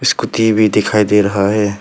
कुछ कुत्ते भी दिखाई दे रहा है।